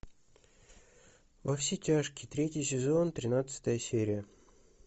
во все тяжкие третий сезон тринадцатая серия